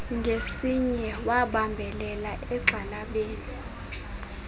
ngesinye wabambelela egxalabeni